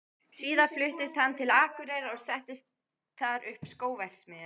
Síðar fluttist hann til Akureyrar og setti þar upp skóverksmiðju.